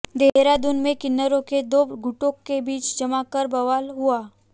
देहरादून में किन्नरों के दो गुटों के बीच जमकर बवाल हुआ